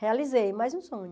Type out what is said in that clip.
Realizei mais um sonho.